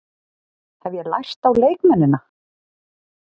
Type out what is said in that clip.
Hef ég lært á leikmennina?